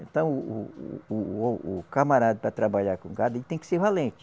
Então, o o o, o camarada para trabalhar com o gado, ele tem que ser valente.